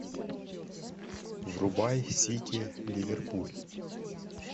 врубай сити ливерпуль